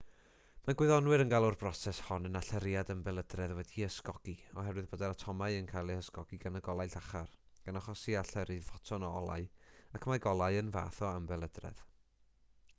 mae gwyddonwyr yn galw'r broses hon yn allyriad ymbelydredd wedi'i ysgogi oherwydd bod yr atomau yn cael eu hysgogi gan y golau llachar gan achosi allyrru ffoton o olau ac mae golau yn fath o ymbelydredd